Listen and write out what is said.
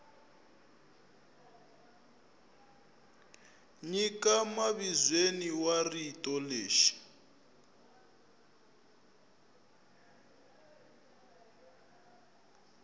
nyika mavizweni wa rito leri